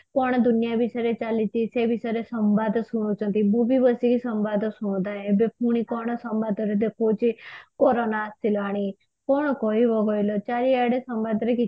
କଣ ଦୁନିଆ ବିଷୟ ରେ ଚାଲିଛି ସେ ବିଷୟରେ ସମ୍ବାଦ ଶୁଣୁଛନ୍ତି ମୁଁ ବି ବସିକି ସମ୍ବାଦ ଶୁଣୁଥାଏ ଏବେ ପୁଣି କଣ ସମ୍ବାଦ ରେ ଦେଖଉଛି କୋରୋନା ଆସିଲାଣି କଣ କହିବ କହିଲ ଚାରିଆଡେ ସମାଜ ରେ